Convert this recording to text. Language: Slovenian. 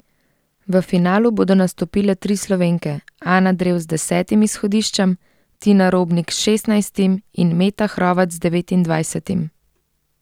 V finalu bodo nastopile tri Slovenke Ana Drev z desetim izhodiščem, Tina Robnik s šestnajstim in Meta Hrovat z devetindvajsetim.